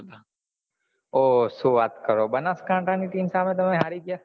ઓં શું વાત કરો બનાસકાંઠા ની team સામે તમે હારી ગયા